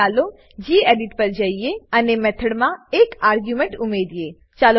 હવે ચાલો ગેડિટ પર જઈએ અને મેથોડ મેથડ માં એક આર્ગ્યુમેન્ટ આર્ગ્યુંમેંટ ઉમેરીએ